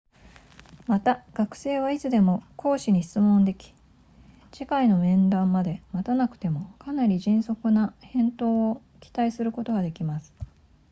また学生はいつでも講師に質問でき次回の面談まで待たなくてもかなり迅速な返答を期待することができます